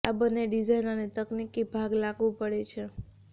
આ બંને ડિઝાઇન અને તકનિકી ભાગ લાગુ પડે છે